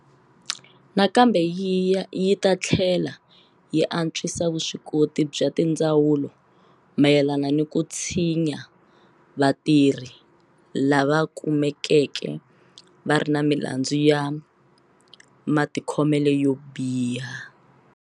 Nakambe yi ta tlhela yi antswisa vuswikoti bya tindzawulo mayelana ni ku tshinya vatirhi lava kume keke va ri ni milandzu ya matikhomelo yo biha.